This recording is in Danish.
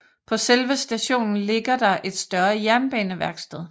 På selve stationen ligger der et større jernbaneværksted